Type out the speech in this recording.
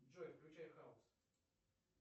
джой включай хаус